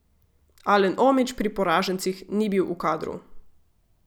Alen Omić pri poražencih ni bil v kadru.